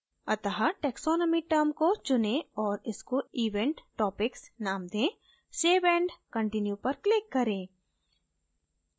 अत: taxonomy term को चुनें और इसको event topics name दें save and continue पर click करें